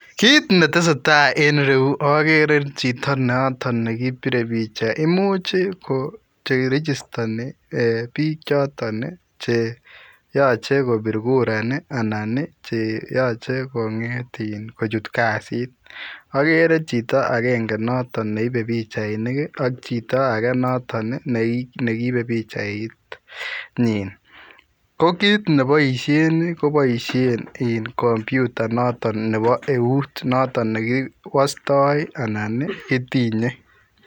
Kit ne tesetai en iruyuu ii agere chitoo notoon nekibire [picha] imuuch ii ko che rigistanii eeh biik chotoon che yachei kobiit kura anan ii che yachei kongeet in kochuut kazit agere chitoo agenge neibe pichainik ak chitoo notoon ii neibe pichait nyiin ko kiit nebaisheen ii ko [computer] noton nebo euut kiwastai anan ii kitinyei